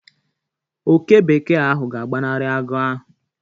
Oke bekee ahụ ga-agbanari agụ ahụ.